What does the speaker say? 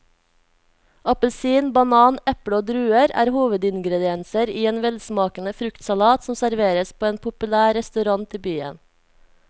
Appelsin, banan, eple og druer er hovedingredienser i en velsmakende fruktsalat som serveres på en populær restaurant i byen.